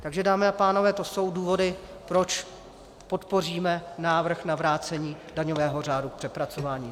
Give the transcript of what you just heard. Takže dámy a pánové, to jsou důvody, proč podpoříme návrh na vrácení daňového řádu k přepracování.